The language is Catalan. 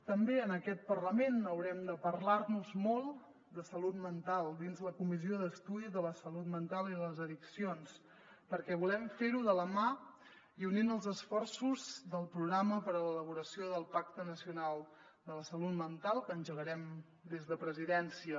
també en aquest parlament haurem de parlar nos molt de salut mental dins la comissió d’estudi sobre la salut mental i les addiccions perquè volem fer ho de la mà i unint els esforços del programa per a l’elaboració del pacte nacional de la salut mental que engegarem des de presidència